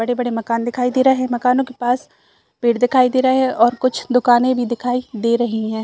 बड़े-बड़े मकान दिखाई दे रहे है मकानों के पास पेड़ दिखाई दे रहे है और कुछ दुकाने भी दिखाई दे रही है।